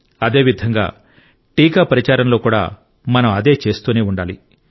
అదేవిధంగా టీకా ప్రచారంలో కూడా మనం అదే చేస్తూనే ఉండాలి